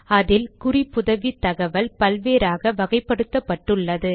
அதில் குறிப்புதவி தகவல் பல் வேறாக வகைப்படுத்தப்பட்டுள்ளது